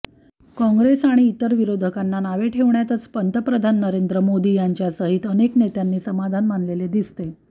काँग्रेस आणि इतर विरोधकांना नावे ठेवण्यातच पंतप्रधान नरेंद्र मोदी यांच्यासहित अनेक नेत्यांनी समाधान मानलेले दिसते